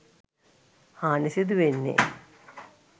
හානි සිදුවන්නෙ